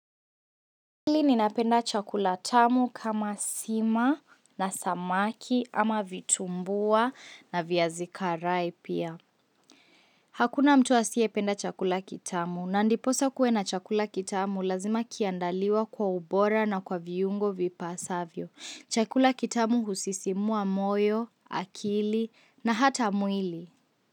Hivi ninapenda chakula tamu kama sima na samaki ama vitumbua na viazi karai pia. Hakuna mtu asiye penda chakula kitamu. Na ndiposa kuwe na chakula kitamu lazima kiandaliwe kwa ubora na kwa viungo vipasavyo. Chakula kitamu husisimua moyo, akili na hata mwili.